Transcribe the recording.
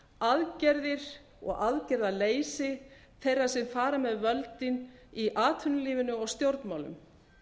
leyndarhyggjuaðgerðir og aðgerðaleysi þeirra sem fara með völdin í atvinnulífinu og stjórnmálum